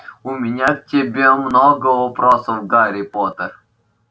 у меня к тебе много вопросов гарри поттер